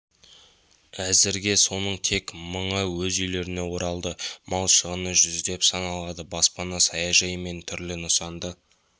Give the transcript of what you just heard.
әзірге соның тек мыңы өз үйлеріне оралды мал шығыны жүздеп саналады баспана саяжай мен түрлі нысанды